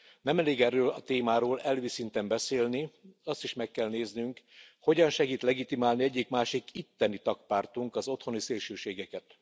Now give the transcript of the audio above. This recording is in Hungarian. Nem elég erről a témáról elvi szinten beszélni. Azt is meg kell néznünk, hogyan segít legitimálni egyik másik itteni tag pártunk az otthoni szélsőségeket.